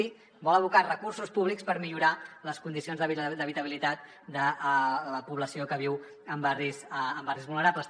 sí vol abocar recursos públics per millorar les condicions d’habitabilitat de la població que viu en barris vulnerables